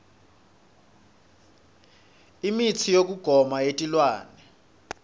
imitsi yekugoma yetilwane